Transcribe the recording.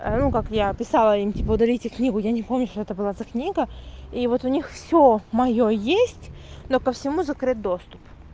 ну как я писала им типо удалите книгу я не помню что это была за книга и вот у них всё моё есть но по всему закрыт доступ